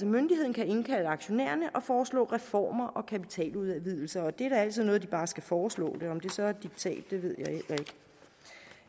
myndigheden indkalde aktionærerne og foreslå reformer og kapitaludvidelser og det er da altid noget at de bare skal foreslå det om det så er et diktat ved